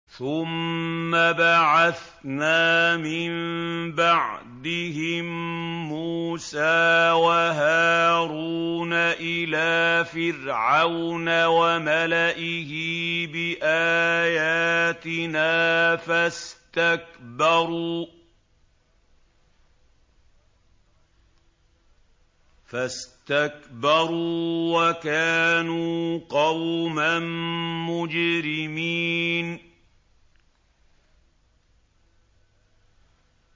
ثُمَّ بَعَثْنَا مِن بَعْدِهِم مُّوسَىٰ وَهَارُونَ إِلَىٰ فِرْعَوْنَ وَمَلَئِهِ بِآيَاتِنَا فَاسْتَكْبَرُوا وَكَانُوا قَوْمًا مُّجْرِمِينَ